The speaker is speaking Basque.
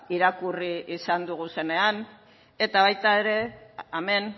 irakurri izan dugunean eta baita ere hemen